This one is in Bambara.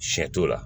Sɛ t'o la